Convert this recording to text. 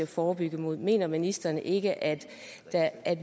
forebygge mener ministeren ikke at